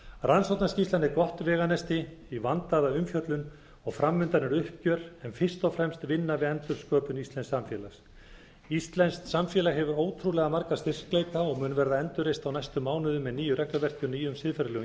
rannsóknarskýrslan er gott veganesti í vandaða umfjöllun og fram undan er uppgjör en fyrst og fremst vinna við endursköpun íslensks samfélags íslenskt samfélag hefur ótrúlega marga styrkleika og mun verða endurreist á næstu mánuðum með nýju regluverki og nýju regluverki og nýjum siðferðilegum